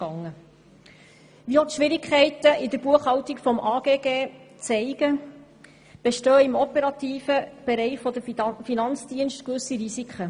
Wie auch die Schwierigkeiten in der Buchhaltung des AGG zeigen, bestehen im operativen Be reich der Finanzdienste gewisse Risiken.